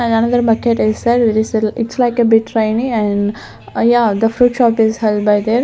and another market it's like a big rainy and yeah the fruit shop is held by .